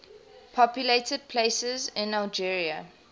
populated places in algeria